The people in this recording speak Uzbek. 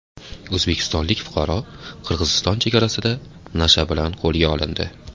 O‘zbekistonlik fuqaro Qirg‘iziston chegarasida nasha bilan qo‘lga olindi.